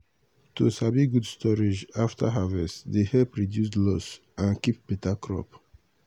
to sabi good storage after harvest dey help reduce loss and dey keep beta crop.